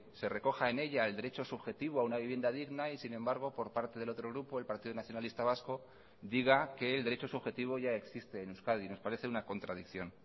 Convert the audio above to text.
se recoja en ella el derecho subjetivo a una vivienda digna y sin embargo por parte del otro grupo el partido nacionalista vasco diga que el derecho subjetivo ya existe en euskadi nos parece una contradicción